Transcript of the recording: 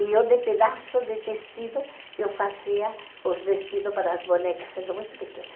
E eu, de pedaços de tecido, eu fazia os vestidos para as bonecas, sendo muito pequena.